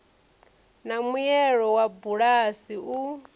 na muelo wa bulasi u